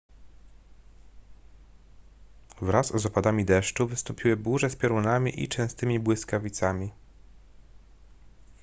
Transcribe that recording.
wraz z opadami deszczu wystąpiły burze z piorunami i częstymi błyskawicami